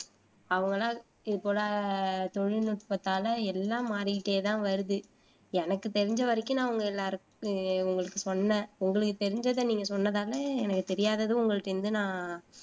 அவங்களா இது போல தொழில்நுட்பத்தாலே எல்லாம் மாறிக்கிட்டேதான் வருது எனக்கு தெரிஞ்ச வரைக்கும் நான் உங்க எல்லாருக்கும் உங்களுக்கு சொன்னேன். உங்களுக்கு தெரிஞ்சத நீங்க சொன்னதால எனக்கு தெரியாததும் உங்கள்ட்ட இருந்து நான்